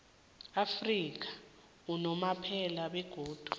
afrika unomphela begodu